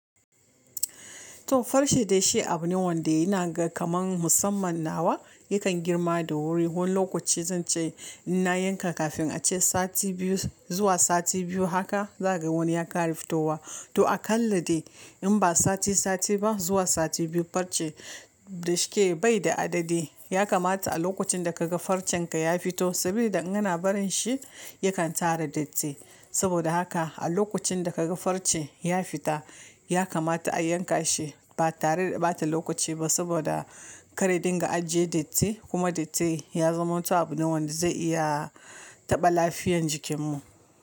To farce dai shi abu ne wanda ina ga kamar musamman nawa yakan girma da wuri. Wani lokaci zan ce in na yanka kafin ace sati biyu zuwa sati biyu haka za ga wani yakan fito wa. To akalla dai in ba sati sati ba zuwa sati biyu farce dashi ke bai da adadi ya kamata a lokacin da kaga farcen ka ya fito saboda an gana barin shi yakan tara datti. Saboda haka a lokacin da kaga farce ya fita ya kamata a yanka shi ba tare da bata lokaci ba saboda karya dinga ajjiye datti kuma datti ya zama abu ne wanda zai iya taɓa lafiyan jikinmu.